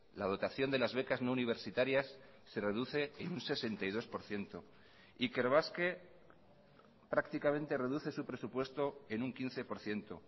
la dotación de las becas no universitarias se reduce en un sesenta y dos por ciento ikerbasque prácticamente reduce su presupuesto en un quince por ciento